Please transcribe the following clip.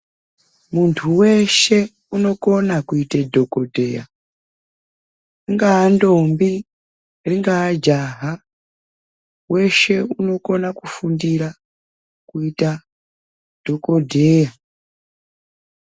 Muntu weshe unokona kuite dhokodheya ungaa ntombi ingaa jaha weshe unokona kufundira kuita dhokodheya.